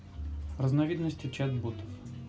разновидности чат-ботов